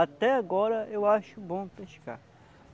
Até agora eu acho bom pescar.